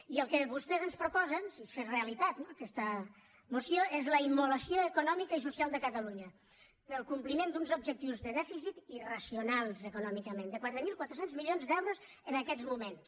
i el que vostès ens proposen si es fes realitat aquesta moció és la immolació econòmica i social de catalunya pel compliment d’uns objectius de dèficit irracionals econòmicament de quatre mil quatre cents milions d’euros en aquests moments